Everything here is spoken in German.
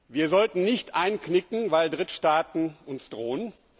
Wir sollten nicht einknicken, weil Drittstaaten uns drohen.